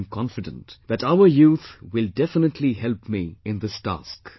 I am confident that our youth will definitely help me in this task